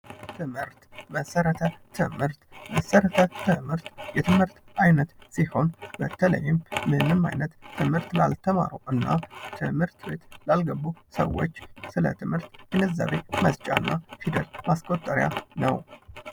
ትምህርት፤ መሰረተ ትምህርት፦ መሰረተ ትምህርት የትምህርት አይነት ሲሆን በተለይም ምንም አይነት ትምህርት ባልተማሩ እና ትምህርት ቤት ላልገቡ ሰወች ስለትምህርት ግንዛቤ መስጫና ፊደል ማስቆጠሪያ ነው።